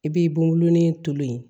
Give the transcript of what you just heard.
I b'i bolonɔnin to yen